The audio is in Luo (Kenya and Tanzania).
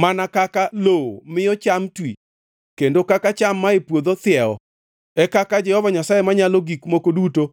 Mana kaka lowo miyo cham twi, kendo kaka cham mae puodho thiewo, e kaka Jehova Nyasaye Manyalo Gik Moko Duto